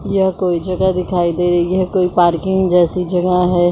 यह कोई जगह दिखाई दे रही है कोई पार्किंग जैसी जगह है।